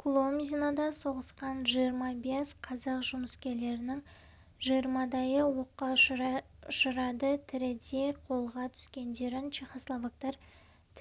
куломзинода соғысқан жиырма бес қазақ жұмыскерлерінің жиырмадайы оққа ұшады тірідей қолға түскендерін чехословактар